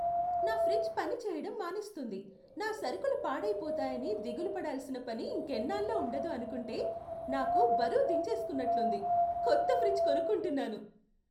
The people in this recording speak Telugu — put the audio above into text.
నా ఫ్రిజ్ పనిచేయడం మానేస్తుంది, నా సరుకులు పాడయిపోతాయని దిగులు పడాల్సిన పని ఇంకెన్నాళ్ళో ఉండదు అనుకుంటే, నాకు బరువు దించేసుకున్నట్లుంది. కొత్త ఫ్రిజ్ కొనుక్కుంటున్నాను.